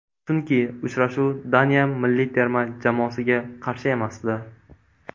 Chunki uchrashuv Daniya milliy terma jamoasiga qarshi emasdi.